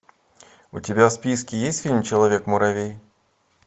у тебя в списке есть фильм человек муравей